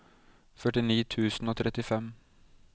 førtini tusen og trettifem